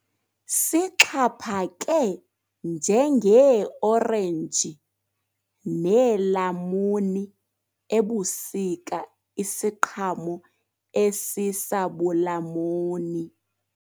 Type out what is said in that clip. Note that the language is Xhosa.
Sixhaphake njengeeorenji neelamuni ebusika isiqhamo esisabulamuni.